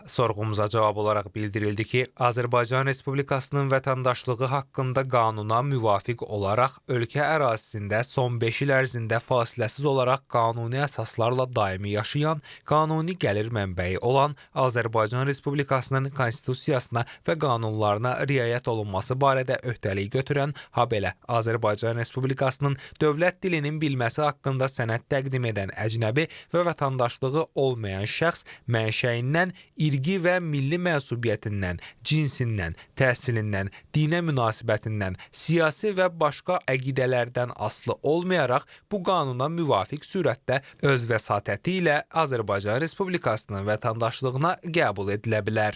Sorğumuza cavab olaraq bildirildi ki, Azərbaycan Respublikasının vətəndaşlığı haqqında qanuna müvafiq olaraq ölkə ərazisində son beş il ərzində fasiləsiz olaraq qanuni əsaslarla daimi yaşayan, qanuni gəlir mənbəyi olan, Azərbaycan Respublikasının Konstitusiyasına və qanunlarına riayət olunması barədə öhdəlik götürən, habelə Azərbaycan Respublikasının dövlət dilinin bilməsi haqqında sənəd təqdim edən əcnəbi və vətəndaşlığı olmayan şəxs, mənşəyindən, irqi və milli mənsubiyyətindən, cinsindən, təhsilindən, dinə münasibətindən, siyasi və başqa əqidələrdən asılı olmayaraq bu qanuna müvafiq sürətdə öz vəsatəti ilə Azərbaycan Respublikasının vətəndaşlığına qəbul edilə bilər.